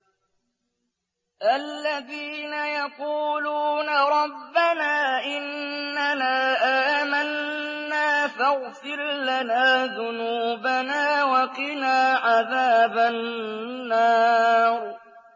الَّذِينَ يَقُولُونَ رَبَّنَا إِنَّنَا آمَنَّا فَاغْفِرْ لَنَا ذُنُوبَنَا وَقِنَا عَذَابَ النَّارِ